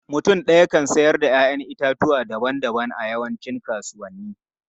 Mutum ɗaya kan siyar da 'ya'yan itatuwa daban-daban a yawancin kasuwanni.